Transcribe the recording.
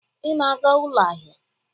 Ị na-aga ụlọ ahịa?